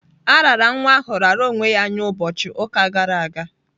A raara nwa ahụ raara onwe ya nye ụbọchị ụka gara aga.